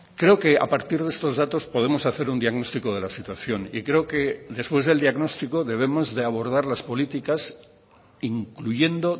creo que a partir de estos datos podemos hacer un diagnóstico de la situación y creo que después del diagnóstico debemos de abordar las políticas incluyendo